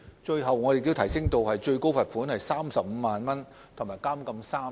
其後，我們更把最高罰款提升至35萬元及監禁3年。